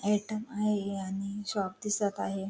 Item आहे आणि shop दिसत आहे.